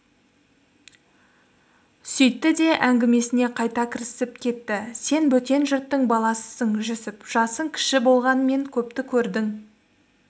сөйтті де әңгімесіне қайта кірісіп кетті сен бөтен жұрттың баласысың жүсіп жасың кіші болғанмен көпті көрдің